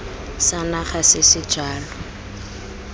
sa naga se se jalo